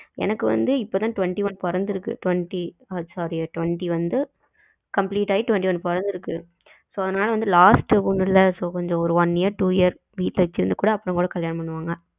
எனக்கு வந்து இப்பத்தான் twenty one பிறந்திருக்கு twenty sorry twenty வந்து complete ஆயி twenty one பிறந்திருக்கு so அதுனால வந்து last பொண்ணுல so கொஞ்சம் one year two year வீட்டுல வச்சு இருந்து கூட அப்புறம் கூட கல்யாணம் பண்ணுவாங்க